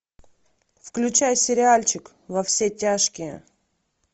включай сериальчик во все тяжкие